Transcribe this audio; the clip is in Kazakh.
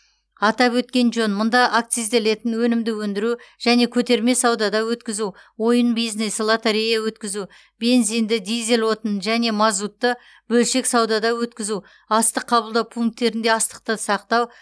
атап өткен жөн мұнда акцизделетін өнімді өндіру және көтерме саудада өткізу ойын бизнесі лотерея өткізу бензинді дизель отынын және мазутты бөлшек саудада өткізу астық қабылдау пункттерінде астықты сақтау